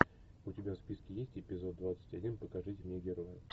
у тебя в списке есть эпизод двадцать один покажите мне героя